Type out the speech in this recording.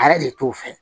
A yɛrɛ de t'o fɛ